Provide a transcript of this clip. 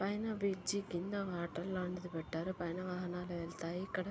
పైన బ్రిడ్జి కింద వాటర్ లాంటిది పెట్టారు.పైన వాహనాలు వెళతాయి.ఇక్కడ--